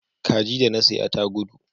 Kaji da na saya ta gudu